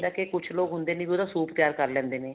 ਕੇ ਕੁੱਝ ਲੋਕ ਹੁੰਦੇ ਨੇ ਵੀ ਉਹਦਾ soup ਤਿਆਰ ਕਰ ਲੈਂਦੇ ਨੇ